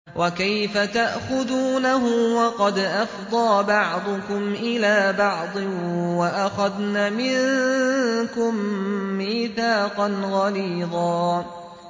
وَكَيْفَ تَأْخُذُونَهُ وَقَدْ أَفْضَىٰ بَعْضُكُمْ إِلَىٰ بَعْضٍ وَأَخَذْنَ مِنكُم مِّيثَاقًا غَلِيظًا